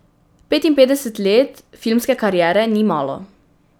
Petinpetdeset let filmske kariere ni malo.